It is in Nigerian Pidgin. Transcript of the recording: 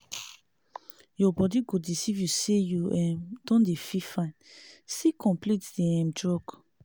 your body go deceive you say you um don dey feel fine still complete di um drug